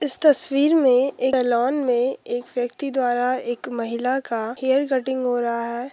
इस तस्वीर में ए सलोन में एक व्यक्ति द्वारा एक महिला का हेयर कटिंग हो रहा है।